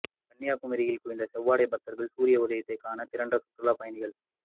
கன்னியாகுமரியில் குவிந்த செவ்வாடை பக்தர்கள் சூரிய உதயத்தை காண திரண்ட சுற்றுலா பயணிகள்